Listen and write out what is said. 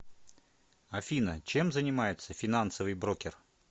афина чем занимается финансовый брокер